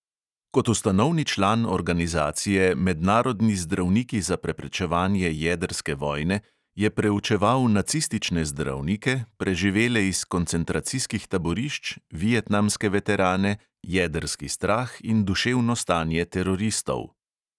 Kot ustanovni član organizacije mednarodni zdravniki za preprečevanje jedrske vojne je preučeval nacistične zdravnike, preživele iz koncentracijskih taborišč, vietnamske veterane, jedrski strah in duševno stanje teroristov.